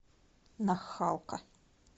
нахалка